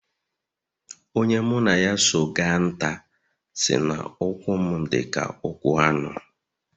Onye mụ na ya so ga nta, sị na ụkwụ m dịka ụkwụ anụ